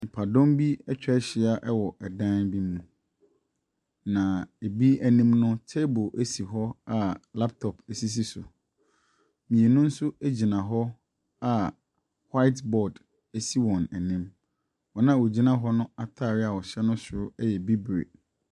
Nnipadɔm bi atwa ahyia wɔ dan bi mu. Na ebi anim no, table si hɔ a laptop sisi so. Mmienu nso gyina hɔ awhite boad si wɔn anim. Wɔn a wɔgyina hɔ no ataareɛ no soro yɛ bibire.